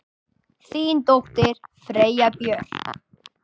Þín dóttir, Freyja Björk.